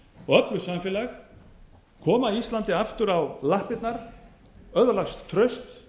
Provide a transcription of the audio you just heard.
og öflugt samfélag koma íslandi aftur á lappirnar öðlast traust